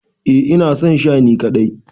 Eh ina son Sha ni kadai.